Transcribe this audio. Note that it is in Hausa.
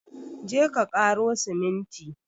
Je ka ƙaro siminti!